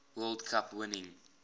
world cup winning